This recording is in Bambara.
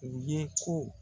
U ye ko